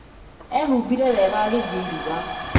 Ehumbire wega agĩthiĩ iruga